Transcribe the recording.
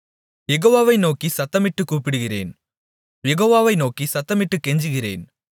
யெகோவாவை நோக்கிச் சத்தமிட்டுக் கூப்பிடுகிறேன் யெகோவாவை நோக்கிச் சத்தமிட்டுக் கெஞ்சுகிறேன்